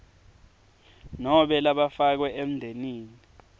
nobe labafakwe emndenini